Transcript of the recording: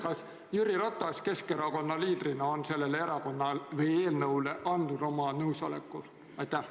Kas Jüri Ratas Keskerakonna liidrina on sellele eelnõule andnud oma nõusoleku?